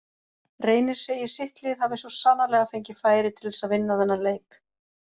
Reynir segir sitt lið hafi svo sannarlega fengið færi til þess að vinna þennan leik.